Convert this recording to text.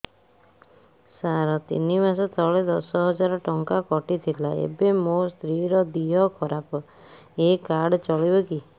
ସାର ତିନି ମାସ ତଳେ ଦଶ ହଜାର ଟଙ୍କା କଟି ଥିଲା ଏବେ ମୋ ସ୍ତ୍ରୀ ର ଦିହ ଖରାପ ଏ କାର୍ଡ ଚଳିବକି